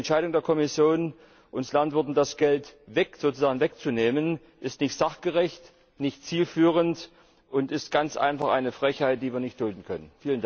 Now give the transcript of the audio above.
Die Entscheidung der Kommission, uns Landwirten das Geld sozusagen wegzunehmen, ist nicht sachgerecht, nicht zielführend, und ist ganz einfach eine Frechheit, die wir nicht dulden können.